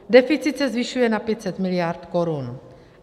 Deficit se zvyšuje na 500 miliard korun.